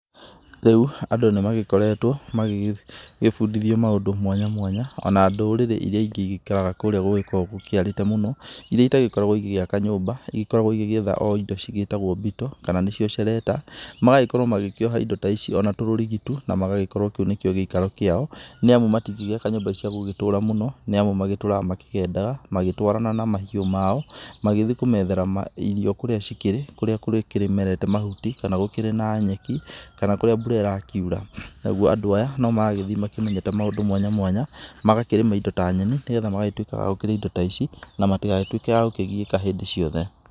Rĩu andũ nĩmagĩkoretwo magĩgĩ gĩbundithio maũndũ mwanya mwanya. Ona ndũrĩrĩ iria ingĩ igĩikaraga kũũrĩa gũgĩkoragwo gũkĩarĩte mũno, iria itagĩkoragwo igĩgĩaka nyumba. Ikoragwo igĩgĩetha o indo cigĩtagwo mbito, kana nĩcio cerenda. Magagĩkorwo magĩkĩoha indo ta ici ona tũrũrigi tu, na magagĩkorwo kĩu nĩkĩo gĩikaro kĩao nĩamu matingĩgĩaka nyũmba cia gũgĩtũra mũno, nĩamu magĩtũraga makĩgendaga, magĩtwarana na mahiũ mao magĩthiĩ kumethera ma irio kũrĩa cikĩrĩ, kũrĩa kũrĩkĩmerete mahuti kana gũkĩrĩ na nyeki, kana kũrĩa mbura ĩrakiura. Naguo andũ aya nomaragĩthiĩ makĩmenyete maũndũ mwanya mwanya, magakĩrĩma indo ta nyeni nĩgetha magagĩtuĩka a kũrĩa indo ta ici, na matigagĩtuĩke a kũgiĩka hĩndĩ ciothe.